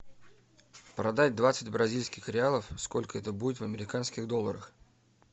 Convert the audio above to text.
продать двадцать бразильских реалов сколько это будет в американских долларах